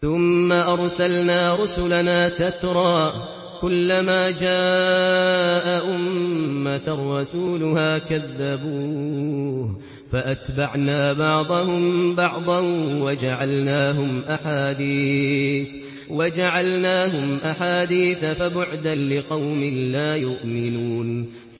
ثُمَّ أَرْسَلْنَا رُسُلَنَا تَتْرَىٰ ۖ كُلَّ مَا جَاءَ أُمَّةً رَّسُولُهَا كَذَّبُوهُ ۚ فَأَتْبَعْنَا بَعْضَهُم بَعْضًا وَجَعَلْنَاهُمْ أَحَادِيثَ ۚ فَبُعْدًا لِّقَوْمٍ لَّا يُؤْمِنُونَ